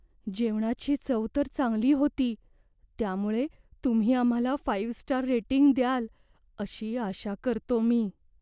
जेवणाची चव तर चांगली होती, त्यामुळे तुम्ही आम्हाला फाईव्ह स्टार रेटिंग द्याल अशी आशा करतो मी.